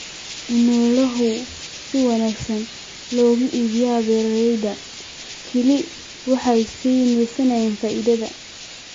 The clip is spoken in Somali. In xoolaha si wanaagsan looga iibiyo beeralayda kale waxay siinaysaa faa'iido.